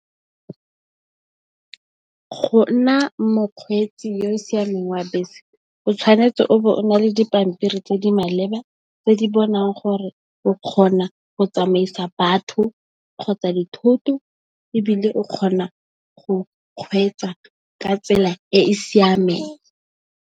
Go nna mokgweetsi yo o siameng wa bese o tshwanetse o be o na le dipampiri tse di maleba tse di bontshang gore o kgona go tsamaisa batho, kgotsa dithoto ebile o kgona go kgweetsa ka tsela e e siameng.